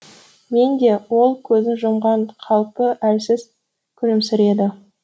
мен де ол көзін жұмған қалпы әлсіз күлімсіреді